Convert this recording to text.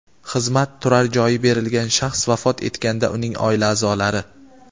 xizmat turar joyi berilgan shaxs vafot etganda uning oila a’zolari;.